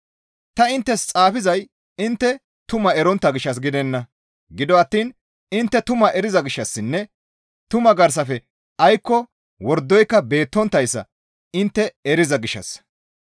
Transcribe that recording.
Ta inttes xaafizay intte tumaa erontta gishshas gidenna; gido attiin intte tumaa eriza gishshassinne tumaa garsafe aykko wordoyka beettonttayssa intte eriza gishshassa.